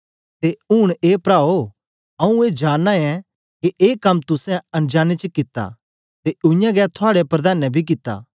ते ऊन ए प्राओ आंऊँ ए जानना ऐं के ए कम तुसें अन जानें च कित्ता ते उयांगै थुआड़े प्रधाने बी कित्ता